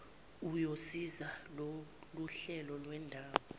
uyosiza loluhlelo lwendawo